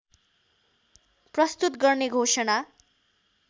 प्रस्तुत गर्ने घोषणा